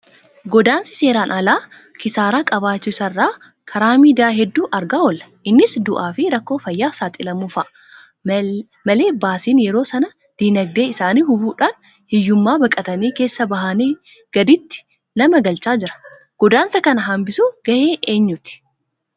Godaansi seeraan alaa kisaaraa qabaachuu isaa karaa miidiyaa hedduu argaa oolla. Innis du'aafi rakkoo fayyaaf saaxilamuu fa'aa malee baasiin yeroo sanaa diinagdee isaanii hubuudhaan hiyyummaa baqatanii keessaa bahanii gaditti nama galchaa jira. Godaansa kana hanbisuun gahee eenyuuti!